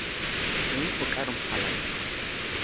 eng o ka re mokgalabje